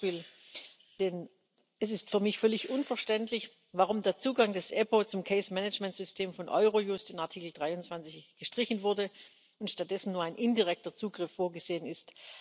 Zum Beispiel ist es für mich völlig unverständlich, warum der Zugang des EPPO zum System von Eurojust in Artikel 23 gestrichen wurde und stattdessen nur ein indirekter Zugriff vorgesehen ist.